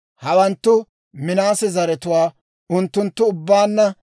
Hawanttu Minaase zaratuwaa; unttunttu ubbaanna 52,700.